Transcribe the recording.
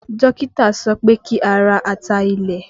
Dókítà sọ pé kí a ra ata ilẹ̀